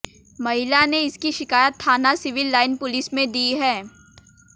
महिला ने इसकी शिकायत थाना सिविल लाईन पुलिस में दी है